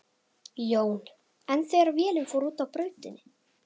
Jón: En þegar vélin fór út af brautinni?